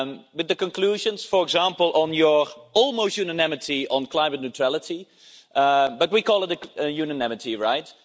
With the conclusions, for example, on your almost unanimity on climate neutrality, but we call it the unanimity right?